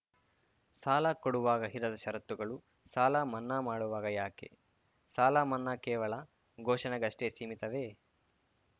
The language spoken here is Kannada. ಸಾಲ ಕೊಡುವಾಗ ಇಲ್ಲದ ಷರತ್ತುಗಳು ಸಾಲಮನ್ನಾ ಮಾಡುವಾಗ ಯಾಕೆ ಸಾಲಮನ್ನಾ ಕೇವಲ ಘೋಷಣೆಗಷ್ಟೆಸೀಮಿತವೇ